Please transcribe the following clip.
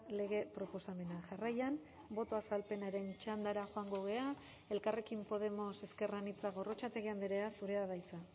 lege proposamena jarraian boto azalpenaren txandara joango gara elkarrekin podemos ezker anitza gorrotxategi andrea zurea da hitza